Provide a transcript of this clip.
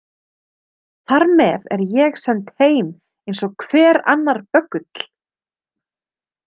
Þar með er ég send heim eins og hver annar böggull.